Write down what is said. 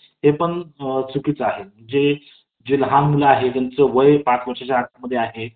अं आई जेव्हा आपल्या सोबत असते तेव्हा ती तेव्हा तिचा आदर करायला शिका शिकायलाच पाहिजॆ प्रत्येक मुलांमुलींनी आणि आपण किहिती मोठं झालो तरी आपल्या आईसाठी आपण लहानच असतो